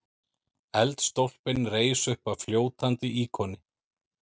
Eldstólpinn reis uppaf fljótandi íkoni.